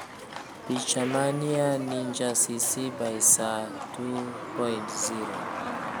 Picha: MĂdia Ninja CC BY-SA 2.0